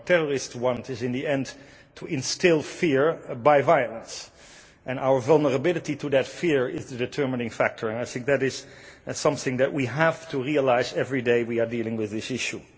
What terrorists want is, in the end, to instil fear by violence, and our vulnerability to that fear is the determining factor, and I think that is something that we have to realise every day we are dealing with this issue.